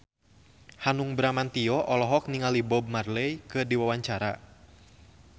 Hanung Bramantyo olohok ningali Bob Marley keur diwawancara